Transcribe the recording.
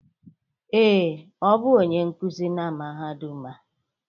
Ee, ọ bụ onye nkuzi na mahadum a.